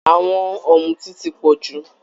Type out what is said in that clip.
Àwọn ọ̀mùtí ti pọ̀ jù